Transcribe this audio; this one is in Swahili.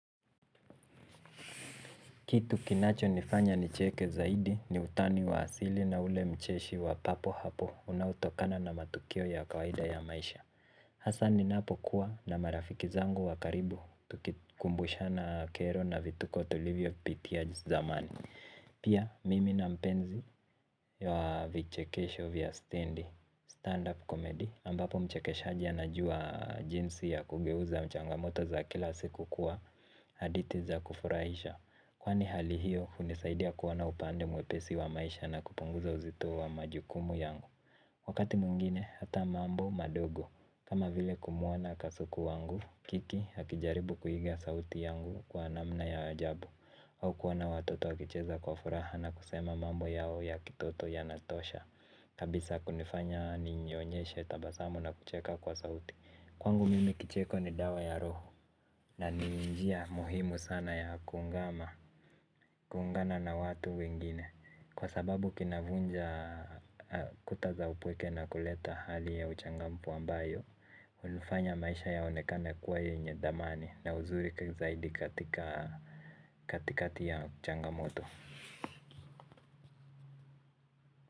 Kitu kinachonifanya nicheke zaidi ni utani wa asali na ule ucheshi wa papo hapo unaotokana na matukio ya kawaida ya maisha hasa ninapokuwa na marafiki zangu wakaribu tukimbushana kero na vituko tulivyopitia zamani. Pia mimi na mpenzi wa vichekesho vya stenzi stand-up comedy ambapo mchekeshaji anajua jinsi ya kugeuza changamoto za kila siku kuwa hadithi za kufurahisha. Kwani hali hiyo hunisaidia kuona upande mwepesi wa maisha na kupunguza uzito wa majukumu yangu wakati mwingine hata mambo madogo kama vile kumuona kasuku wangu, kiki hakijaribu kuhiga sauti yangu kwa namna ya ajabu au kuona watoto wakicheza kwa furaha na kusema mambo yao ya kitoto yanatosha kabisa kunifanya ninyonyeshe tabasamu na kucheka kwa sauti. Kwangu mimi kicheko ni dawa ya roho. Na ninjia muhimu sana ya kungama kuungana na watu wengine. Kwa sababu kinavunja kuta za upweke na kuleta hali ya uchangamfu ambayo hunifanya maisha yaonekana kuwa yenye dhamani na uzuri zaidi katika katikati ya changamoto.